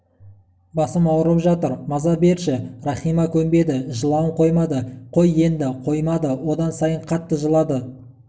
басым ауырып жатыр маза берші рахима көнбеді жылауын қоймады қой еңді қоймады одан сайын қатты жылады